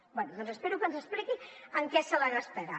bé doncs espero que ens expliqui en què se la gastarà